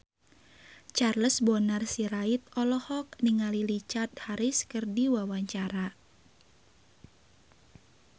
Charles Bonar Sirait olohok ningali Richard Harris keur diwawancara